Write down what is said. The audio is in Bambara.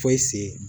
Foyi se